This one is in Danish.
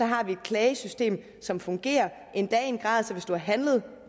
har vi et klagesystem som fungerer endda i en grad så hvis man har handlet